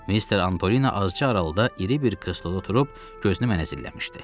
Mister Antolino azca aralıda iri bir kürsüdə oturub gözünü mənə zilləmişdi.